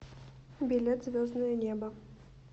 билет звездное небо